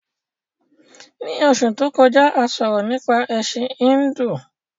Ní Osù to kọjá, a sọ̀rọ̀ nípa Ẹ̀sin Híndù